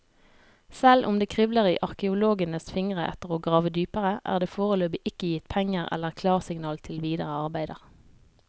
Selv om det kribler i arkeologenes fingre etter å grave dypere, er det foreløpig ikke gitt penger eller klarsignal til videre arbeider.